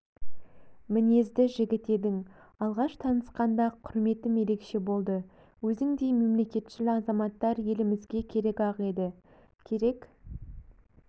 мінезді жігіт едің алғаш танысқанда-ақ құрметім ерекше болды өзіңдей мемлекетшіл азаматтар елімізге керек-ақ еді керек